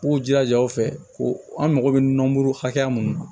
U b'u jilaja u fɛ ko an mago bɛ nɔnɔmuru hakɛya mun na